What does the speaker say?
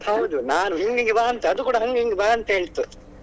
ಹೌದು ನಾನು ಹಿಂಗೇ ಬಾ ಅಂತ ಹೇಳ್ತು ಅದು ಕೂಡ ನಂಗೆ ಹಿಂಗೇ ಬಾ ಅಂತ ಹೇಳ್ತು.